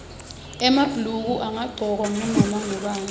emabhuluko angagcokwa ngunoma ngubani